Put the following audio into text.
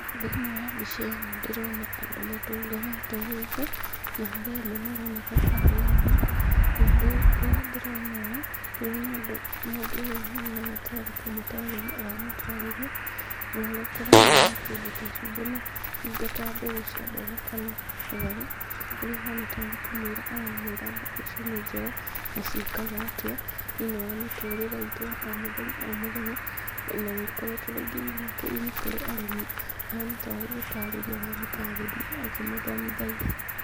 Thĩinĩ wa mbica ĩno ndĩrona andũ matũnganĩte gũkũ na harĩ amwe maroneka tarĩ anene, na rĩrĩa ndĩrona ũũ ndĩrona mũndũ wĩ haha tarĩ kũmũtarĩria aramũtarĩria ũhoro ũkonainie na kĩndũ ta cumbi na indo ta mbegũ cia mboga kana matharũ. Ũria kũhana tarĩ kũmũĩra aramũĩra mbegu icio nĩ njega na ciĩkaga atĩa thĩinĩ wa mĩtũrĩre itũ ya o mũthenya o mũthenya na nĩ ikoretwo rĩngĩ ina kĩguni kũrĩ arĩmi . Ahana tarĩ gũtarĩria aramũtarĩria akĩmũthomithagia.